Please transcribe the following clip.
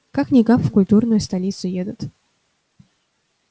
как-никак в культурную столицу едут